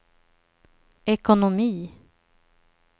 ekonomi